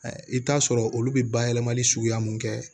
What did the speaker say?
I bɛ t'a sɔrɔ olu bɛ bayɛlɛmali suguya mun kɛ